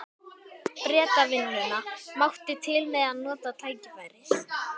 Bretavinnuna, mátti til með að nota tækifærið.